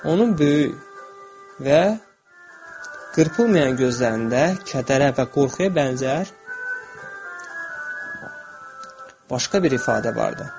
Onun böyük və qırpılmayan gözlərində kədərə və qorxuya bənzər başqa bir ifadə vardı.